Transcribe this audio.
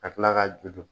Ka tila ka juru